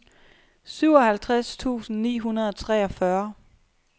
syvoghalvtreds tusind ni hundrede og treogfyrre